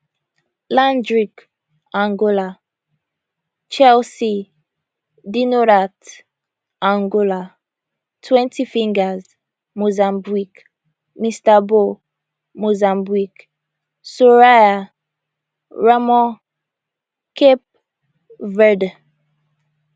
landrick angola chelsea dinorath angola twenty fingers mozambique mr bow mozambique soraia ramos cape verde